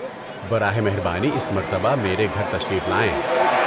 براہ مہربانی اس مرتبہ میرے گھر تشریف لائیں۔